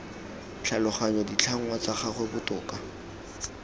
tlhaloganya ditlhangwa tsa gagwe botoka